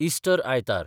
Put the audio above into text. Easter आयतार